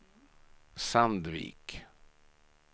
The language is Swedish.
Sandvik